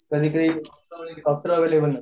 सग्ली कळे अस उपलब्ध नसते